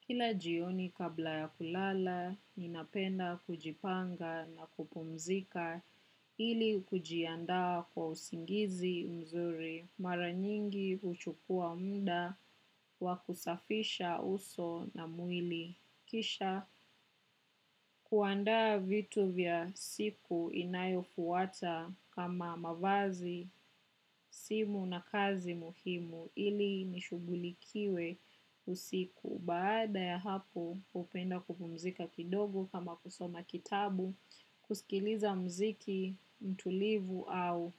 Kila jioni kabla ya kulala, ninapenda kujipanga na kupumzika ili kujianda kwa usingizi mzuri. Mara nyingi huchukua muda wa kusafisha uso na mwili. Kisha kuandaa vitu vya siku inayofuata kama mavazi, simu na kazi muhimu ili nishugulikiwe usiku. Baada ya hapo hupenda kupumzika kidogo kama kusoma kitabu, kusikiliza mziki, tulivu au